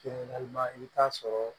i bɛ taa sɔrɔ